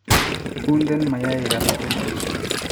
unden mayaikab kutik